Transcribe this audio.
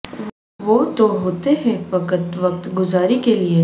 وہ تو ہوتے ہیں فقط وقت گزاری کے لئے